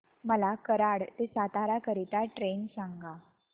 मला कराड ते सातारा करीता ट्रेन सांगा